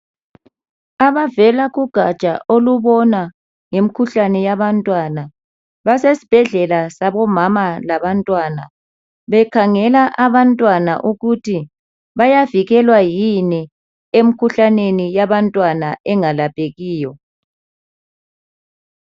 Abavela kugatsha elibona ngomkhuhlane yabantwana basesbhedlela sabomama labantwana bekhangela abantwana ukuthi bayavikelwa yini emkhuhlaneni yabantwana engalaphekiyo .